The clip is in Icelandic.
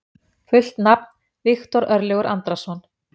Fullt nafn: Viktor Örlygur Andrason.